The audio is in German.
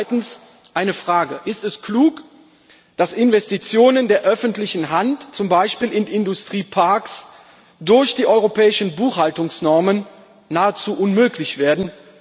Zweitens eine Frage Ist es klug, dass Investitionen der öffentlichen Hand zum Beispiel in Industrieparks durch die europäischen Buchhaltungsnormen nahezu unmöglich werden?